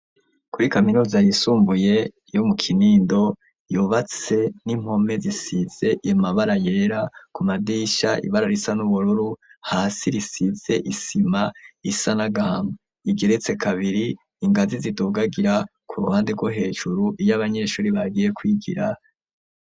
Kuri kaminuza yisumbuye yo mu Kinindo, yubatse n'impome zisize amabara yera, ku madirisha ibara risa n'ubururu, hasi risize isima isa n'agahama, igeretse kabiri, ingazi zidugagira ku ruhande rwo hejuru iyo abanyeshuri bagiye kwigira.